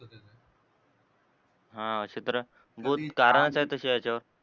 हा अशे तर बहोत कारण आहेत, त्याच्या याच्यावर